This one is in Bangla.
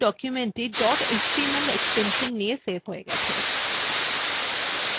দেখুন documentthe dot html এক্সটেনশন নিয়ে সেভ হয়ে গেছে